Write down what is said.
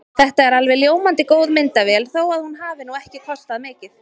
Þetta er alveg ljómandi góð myndavél þó að hún hafi nú ekki kostað mikið.